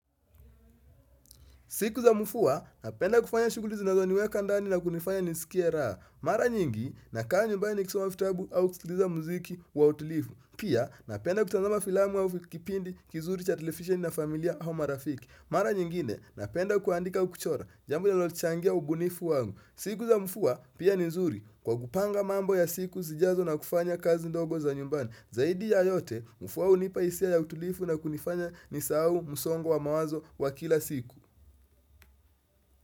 Siku za mvua, napenda kufanya shughuli zinazo niweka ndani na kunifanya nisikie raha. Mara nyingi, nakaa nyumbani nikisoma vitabu au kusikiliza muziki wa utulivu. Pia, napenda kutazama filamu au kipindi kizuri cha television na familia au marafiki. Mara nyingine, napenda kuandika au kuchora, jambo linalochangia ubunifu wangu. Siku za mvua, pia ni nzuri, kwa kupanga mambo ya siku zijazo na kufanya kazi ndogo za nyumbani. Zaidi ya yote, mvua hunipa hisia ya utulivu na kunifanya nisahau msongo wa mawazo wa kila siku.